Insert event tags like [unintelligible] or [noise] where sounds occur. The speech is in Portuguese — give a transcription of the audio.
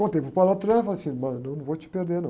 Contei para o [unintelligible] e falei assim, [unintelligible] eu não vou te perder, não.